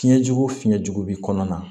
Fiɲɛjugu fiɲɛjugu bɛ kɔnɔna na